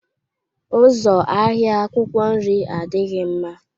Ụzọ ahịa akwụkwọ nri adịghị mma.